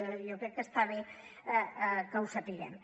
jo crec que està bé que ho sapiguem